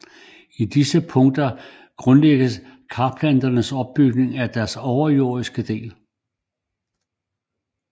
I disse punkter grundlægges karplanternes opbygning af deres overjordiske del